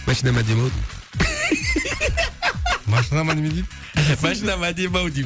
машинам әдемі ау деймін машинама неме дейді машинам әдемі ау деймін